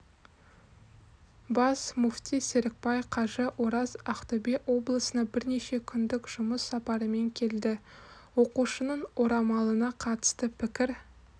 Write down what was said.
бас мүфти серікбай қажы ораз ақтөбе облысына бірнеше күндік жұмыс сапарымен келді оқушының орамалына қатысты пікір